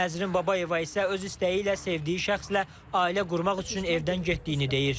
Nəzrin Babayeva isə öz istəyi ilə sevdiyi şəxslə ailə qurmaq üçün evdən getdiyini deyir.